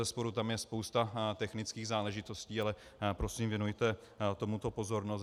Bezesporu tam je spousta technických záležitostí, ale prosím, věnujte tomuto pozornost.